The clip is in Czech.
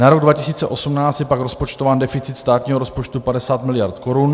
Na rok 2018 je pak rozpočtován deficit státního rozpočtu 50 mld. korun.